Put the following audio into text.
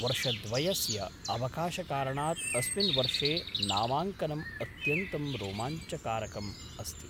वर्षद्वयस्य अवकाशकारणात् अस्मिन् वर्षे नामाङ्कनम् अत्यन्तं रोमाञ्चकारकम् अस्ति।